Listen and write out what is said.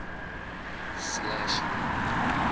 slashy